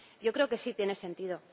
Yo creo que sí tiene sentido.